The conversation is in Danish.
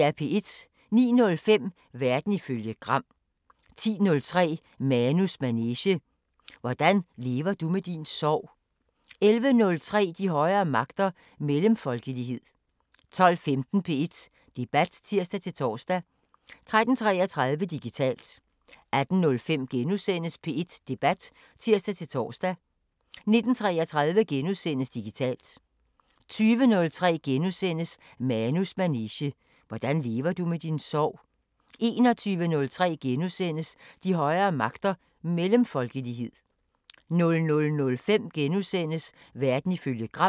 09:05: Verden ifølge Gram 10:03: Manus manege: Hvordan lever du med din sorg? 11:03: De højere magter: Mellemfolkelighed 12:15: P1 Debat (tir-tor) 13:33: Digitalt 18:05: P1 Debat *(tir-tor) 19:33: Digitalt * 20:03: Manus manege: Hvordan lever du med din sorg? * 21:03: De højere magter: Mellemfolkelighed * 00:05: Verden ifølge Gram *